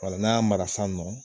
Wala n'an ya mara san nɔ